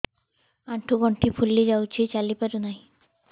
ଆଂଠୁ ଗଂଠି ଫୁଲି ଯାଉଛି ଚାଲି ପାରୁ ନାହିଁ